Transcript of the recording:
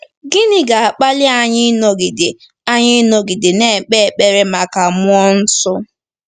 Gịnị ga-akpali anyị ịnọgide anyị ịnọgide na-ekpe ekpere maka mmụọ nsọ?